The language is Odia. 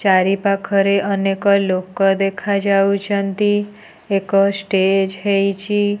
ଚାରିପାଖରେ ଅନେକ ଲୋକ ଦେଖାଯାଉଚନ୍ତି ଏକ ଷ୍ଟେଜ୍ ହେଇଚି।